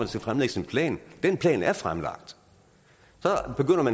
skal fremlægges en plan den plan er fremlagt